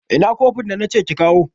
ina kofin da nace kikawo